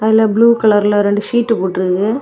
இதுல ப்ளூ கலர்ல ரெண்டு சீட் போட்டு இருக்கு.